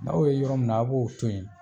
N'aw y'o ye yɔrɔ min na a b'o to yen